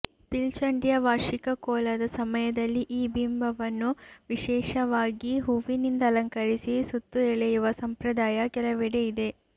ಪಿಲ್ಚಂಡಿಯ ವಾರ್ಷಿಕ ಕೋಲದ ಸಮಯದಲ್ಲಿ ಈ ಬಿಂಬವನ್ನು ವಿಶೇಷವಾಗಿ ಹೂವಿನಿಂದ ಅಲಂಕರಿಸಿ ಸುತ್ತು ಎಳೆಯುವ ಸಂಪ್ರದಾಯ ಕೆಲವಡೆ ಇದೆ